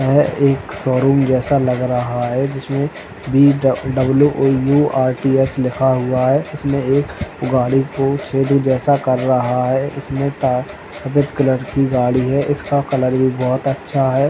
यह एक showroom जैसा लग रहा है जिसमे वी ड् W O U R T H लिखा हुआ है। इसमें एक गाडी को छेदी जैसा कर रहा है। इसमें का गज कलर की गाड़ी है। इसका कलर भी बहोत अच्छा है।